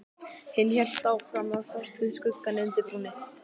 Hinn hélt áfram að fást við skuggann undir brúnni.